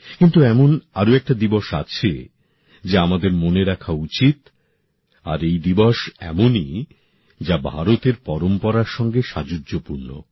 কিন্তু এমন আর একটা দিবস আছে যা আমাদের মনে রাখা উচিত আর এই দিবস এমনই যা ভারতের পরম্পরার সঙ্গে সাযুজ্যপূর্ণ